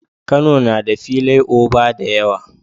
Kano na da filai oba da yawa